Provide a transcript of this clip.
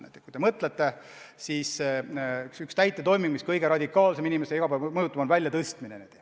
Näiteks üks täitetoiming, mis kõige radikaalsemalt inimest mõjutab, on väljatõstmine.